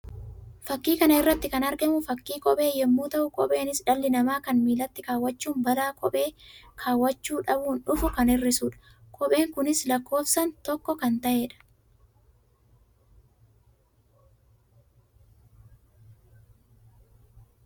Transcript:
Fakkii kana irratti kan argamu fakkii kophee yammuu ta'u; kopheenis dhalli namaa kan miillatti kaawwachuun balaa kophee kaawwachuu dhabuun dhufu kan hir'isuu dha. Kopheen kunis lakkoofsaan tokko kan ta'ee dha.